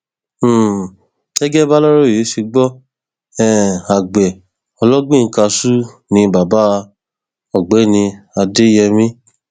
lọjọ etí furuufee ọjọ kẹrìndínlọgbọn oṣù karùnún ọdún yìí ni wọn gbé ìjòyè àná yìí déwájú onídàájọ òò